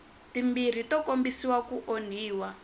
timbirhi to kombisa ku onhiwa